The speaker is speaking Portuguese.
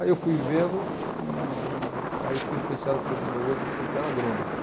Aí eu fui vendo e e aí eu fui influenciado pelo meu outro tio, que era agrônomo.